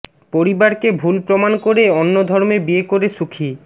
পরিবারকে ভুল প্রমাণ করে অন্য ধর্মে বিয়ে করে সুখী